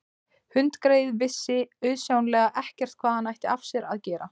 Hundgreyið vissi auðsjáanlega ekkert hvað hann ætti af sér að gera.